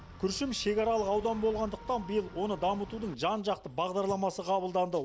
күршім шекаралық аудан болғандықтан биыл оны дамытудың жан жақты бағдарламасы қабылданды